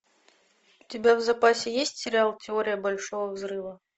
у тебя в запасе есть сериал теория большого взрыва